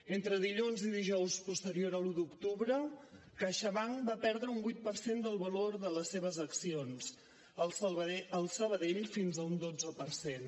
entre dilluns i dijous posteriors a l’un d’octubre caixabank va perdre un vuit per cent del valor de les seves accions el sabadell fins a un dotze per cent